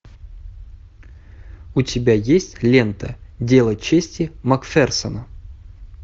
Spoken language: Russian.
у тебя есть лента дело чести макферсона